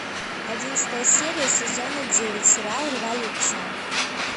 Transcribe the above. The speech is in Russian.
одиннадцатая серия сезона девять сериал революция